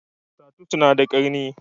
Tatus na da ƙarni